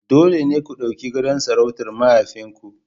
Dole ne ku ɗauki gadon sarautar mahaifinku..